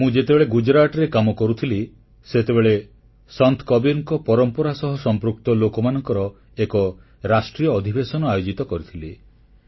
ମୁଁ ଯେତେବେଳେ ଗୁଜରାଟରେ କାମ କରୁଥିଲି ସେତେବେଳେ ସନ୍ଥ କବୀରଙ୍କ ପରମ୍ପରା ସହ ସମ୍ପୃକ୍ତ ଲୋକମାନଙ୍କର ଏକ ରାଷ୍ଟ୍ରୀୟ ଅଧିବେଶନ ଆୟୋଜିତ କରିଥିଲି